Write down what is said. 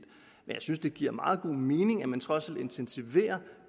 men synes det giver meget god mening at man trods alt intensiverer